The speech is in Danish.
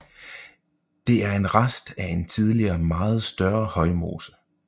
Den er en rest af en tidligere meget større højmose